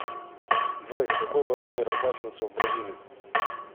джой какой валютой расплачиваются в бразилии